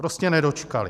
Prostě nedočkali.